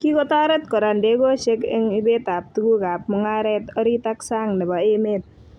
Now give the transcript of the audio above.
Kikotoret kora ndegoshek eng ibet ab tukuk ab mungarek orit ak sang nebo emet